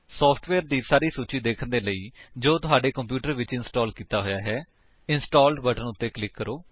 software ਦੀ ਸਾਰੀ ਸੂਚੀ ਦੇਖਣ ਦੇ ਲਈ ਜੋ ਤੁਹਾਡੇ ਕੰਪਿਊਟਰ ਵਿੱਚ ਇੰਸਟਾਲ ਕੀਤਾ ਹੋਇਆ ਹੈ ਇੰਸਟਾਲਡ ਬਟਨ ਉੱਤੇ ਕਲਿਕ ਕਰੋ